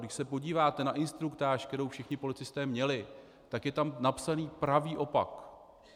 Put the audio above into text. Když se podíváte na instruktáž, kterou všichni policisté měli, tak je tam napsaný pravý opak.